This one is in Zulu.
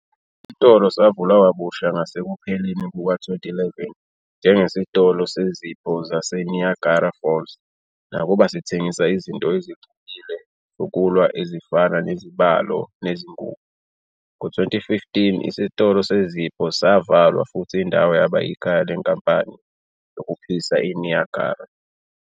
Isitolo savulwa kabusha ngasekupheleni kuka-2011 njengesitolo sezipho sase-Niagara Falls, nakuba sithengisa izinto ezixubile zokulwa ezifana nezibalo nezingubo. Ngo-2015, isitolo sezipho savalwa futhi indawo yaba ikhaya leNkampani yokuphisa iNiagara.